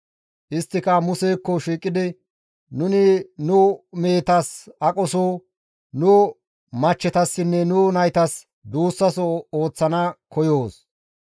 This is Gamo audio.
Isttika Musekko shiiqidi, «Nuni nu mehetas aqoso, nu machchetassinne nu naytas duussaso ooththana koyoos.